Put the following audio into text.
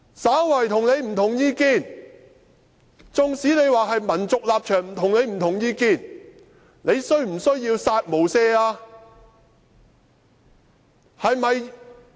稍為與他不同意見，縱使是民族立場與他的意見不同，他便要"殺無赦"嗎？